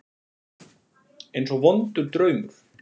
Eins og vondur draumur.